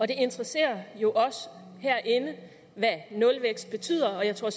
det interesserer jo os herinde hvad nulvækst betyder og jeg tror